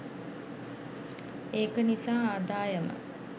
ඒක නිසා ආදායම